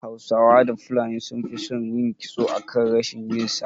Hausawa da fulani sun fi son yin kitso akan rashin yi sa